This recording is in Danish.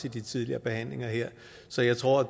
i de tidligere behandlinger her så jeg tror